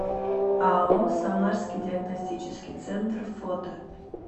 ао самарский диагностический центр фото